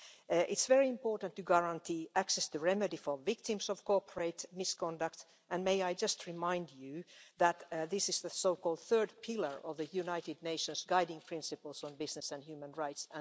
It is very important to guarantee access to remedy for victims of cooperate misconduct, and may I just remind you that this is the so called third pillar of the United Nations guiding principles on business and human rights.